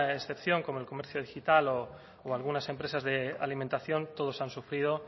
excepción como el comercio digital o algunas empresas de alimentación todos han sufrido